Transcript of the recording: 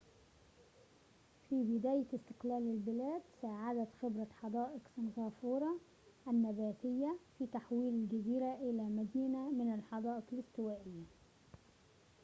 في بداية استقلال البلاد ساعدت خبرة حدائق سنغافورة النباتية في تحويل الجزيرة إلى مدينة من الحدائق الاستوائية